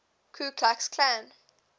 ku klux klan